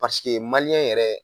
yɛrɛ